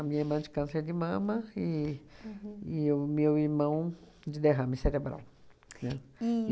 minha irmã de câncer de mama e e o meu irmão de derrame cerebral, né? E